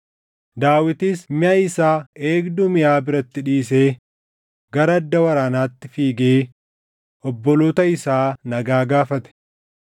Daawitis miʼa isaa eegduu miʼaa biratti dhiisee gara adda waraanaatti fiigee obboloota isaa nagaa gaafate.